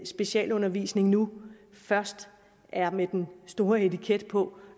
specialundervisningen nu først er med den store etikette på